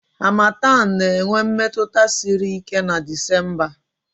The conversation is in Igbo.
Harmattan na-enwe mmetụta siri ike na Disemba